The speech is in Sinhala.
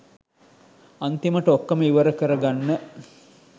අන්තිමට ඔක්කොම ඉවර කර ගන්න